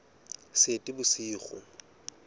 seetebosigo